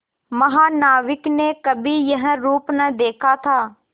महानाविक ने कभी यह रूप न देखा था